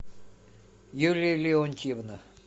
юлия леонтьевна